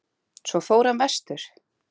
Svo fór hann vestur.